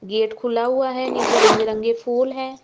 Gate खुला हुआ है। नीचे रंग बिरंगे फूल है।